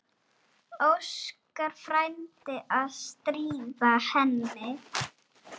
Óskar frændi að stríða henni.